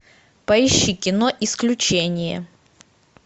поищи кино исключение